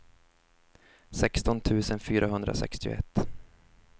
sexton tusen fyrahundrasextioett